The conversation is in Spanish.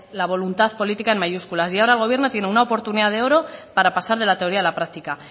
la voluntad política en mayúsculas y ahora el gobierno tiene una oportunidad de oro para pasar de la teoría a la práctica